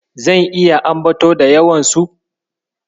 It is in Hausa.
Zan iya ambato da yawansu.